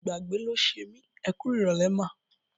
Ìgbàgbé ló ṣe mí. Ẹ kú ìrọ̀lẹ́ mà.